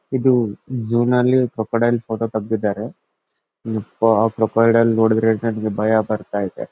ಇದು ಝೋವ್ ನಲ್ಲಿ crocodile photo ತಗದಿದ್ದರೆ ಯಪ್ಪ ಕ್ರೊಕೊಡೈಲ್ ನೋಡಿದ್ರೆ ನನಗೆ ಭಯ ಬರತ್ತಾಯಿದೆ.